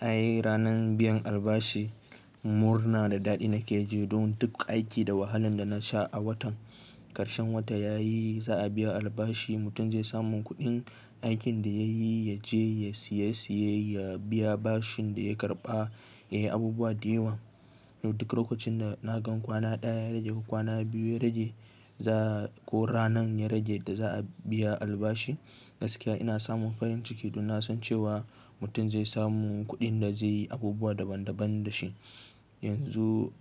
Eh ranar biyan albashi murna da daɗi nake ji don duk aiki da wahalan da na sha a watan, ƙarshen wata ya yi za a biya albashi mutum zai samu kuɗin aikin da ya yi ya je ya siya siyayya, ya biya bashin da ya karɓa, eh abubuwa da yawan. Duk rakocin da na gan kwana ɗaya ya rage ko kwana biyu ya rage za ko ranan ya rage da za a biya albashi gaskiya ina samun farin ciki don na san cewa mutum zai samu kuɗin da zai yi abubuwa daban daban da shi. Yanzu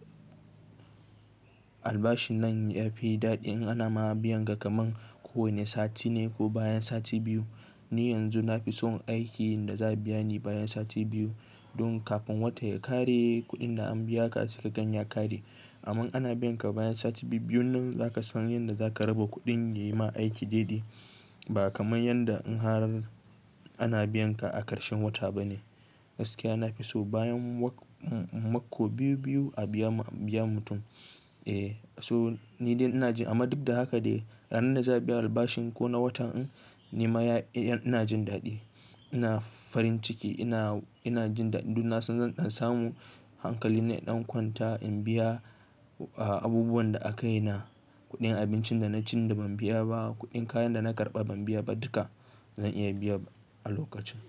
albashi nan ya fi daɗi in ana ma biyan ga kamar ko wanne sati ne ko bayan sati biyu. Ni yanzu na fi son aikin da za a biya ni bayan sati biyu don kafin wata ya kare kuɗin da an biya ka sai ka gan ya kare. Aman ana biyan ka bayan sati biyu biyun nan za ka san yadda za ka raba kuɗin yayi ma aiki dede ba kamar yadda in har ana biyan ka a ƙarshen wata ba ne. Gaskiya na fi so bayan wak-mako biyu biyu a biya mu-biya mutum. Eh so ni dai ina jin amma duk da haka dai ranar da za a biya albashin ko na watan in ni ma ya ina jin daɗi. Ina farin ciki ina, ina jin daɗi dun na san zan dan samu hankali na ya dan kwanta in biya a abubuwan da akaina kuɗin abincin da na cin da ban biya ba, kuɗin kayan da na karɓa ban biya ba duka zan iya biya a lokacin.